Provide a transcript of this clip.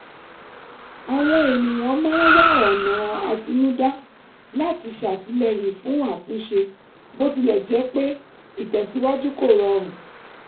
àwọn ènìyàn máa ń wá ọ̀nà àtinúdá láti ṣàtìlẹ́yìn fún àtúnṣe bó tilẹ̀ jẹ́ pé ìtẹ̀síwájú kò rọrùn